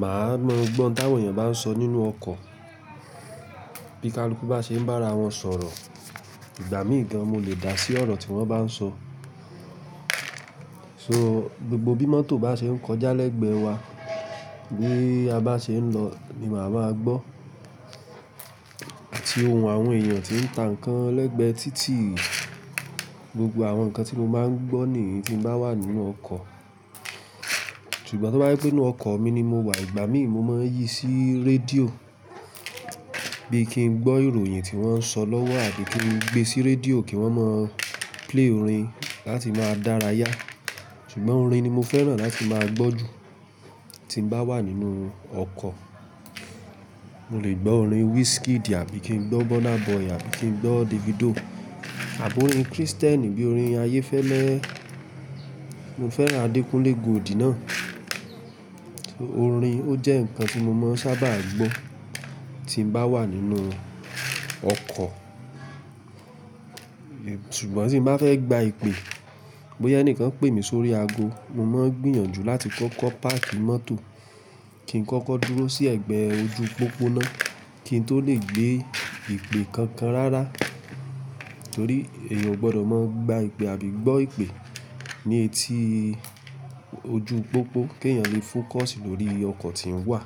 màá mọ gbọ́ n táwòn eyàn bá ń sọ nínú ọkọ̀. Bí kaluku bá ṣe ń bá ara wọn sọ̀rọ̀. Ìgbà mí gan mo lè dà sí ọ̀rọ̀ tí wọ́n bá ń sọ. So gbogbo bí mọ́tò bá ṣe ń kọjá lẹ́gbẹ̀ẹ́ wa, bí a bá ṣe ń lọ ni màá máa gbọ́. Àti ohùn àwọn èèyàn tí ń ta nǹkan lẹ́gbẹ̀ẹ́ títì. Gbogbo àwọn nǹkan tí mo máa ń gbọ́ nìyí tí mo bá wà nínú ọkọ̀. Ṣùgbọ́n to bá je pe nínú ọkọ̀ mi ni mo wà, ìgbà mí mo máa ń yí sí rédíò bí i kí n gbọ́ ìròyìn tí wọ́n ń sọ lọ́wọ́ àbí kí n gbé sí rédíò kí wọ́n mọ play orin láti máa dára yá. Ṣùgbọ́n orin ni mo fẹ́ràn láti máa gbọ́ jù tí mo bá wà nínú ọkọ̀. Mo lè gbọ́ orin Wizkid àbí kí n gbọ́ Burna Boy àbí kí n gbọ́ Davido. Àbo orin Kristẹni bí orin Ayéfẹ́lẹ́. Mo fẹ́ràn Adekunle Gold náa. Orin ó jẹ́ nǹkan tí mo máa ń sábà gbọ́ tí mo bá wà nínú ọkọ̀. Ṣùgbọ́n tí mo bá fẹ́ gba ìpè, bóyá ẹni kan pè mí sórí ago, mo máa ń gbìyànjú láti kó kọ́ páàkì mọ́tò kí n kọ́kọ́ dúró sí ẹ̀gbẹ́ ojú pópó na kí n tó lè gbé ìpè kankan rárá. Nítorí èèyàn ò gbọdọ̀ máa gba ìpè àbí gbọ́ ìpè ní etí ojú pópó kí èèyàn lè fókọ̀sì lórí ọkọ̀ tí ń wà.